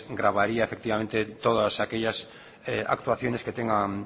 grabaría efectivamente todas aquellas actuaciones que tenga